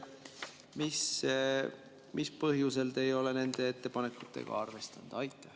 Mis põhjusel te ei ole nende ettepanekuid arvestanud?